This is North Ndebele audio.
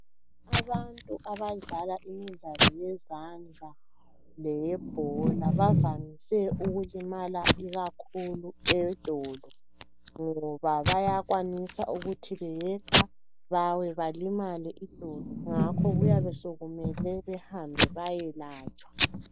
Abadlala imidlalo yezandla leyebhola bavame ukulimala idolo ngoba bayakwanisa ukuthi beyeqa balimale ngakho kuyabe sokumele bayelatshwa